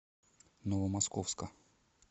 новомосковска